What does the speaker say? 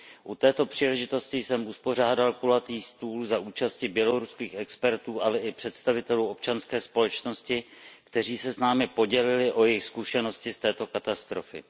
U této příležitosti jsem uspořádal kulatý stůl za účasti běloruských expertů, ale i představitelů občanské společnosti, kteří se s námi podělili o jejich zkušenosti z této katastrofy.